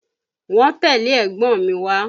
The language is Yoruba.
Wọ́n tẹ́lẹ̀ ẹ̀gbọ́n mi wá